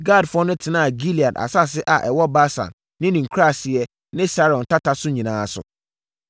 Gadfoɔ no tenaa Gilead asase a ɛwɔ Basan ne ne nkuraaseɛ ne Saron tata no nyinaa so.